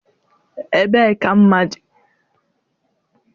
Ebee ka mma dị?